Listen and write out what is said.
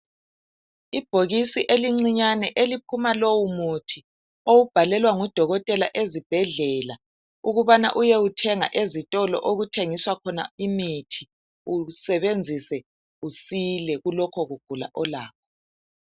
Ibhokisi elincinyane eliphuma lowu muthi owubhalelwa ngudokotela ezibhedlela ukubana uyewuthenga ezitolo okuthengiswa khona imithi usebenzise usile kulokho kugula olakho.